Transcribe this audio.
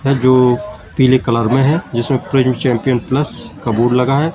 जो पिले कलर में हैं जिसमें प्रिंट चैंपियन प्लस का बोर्ड लगा है।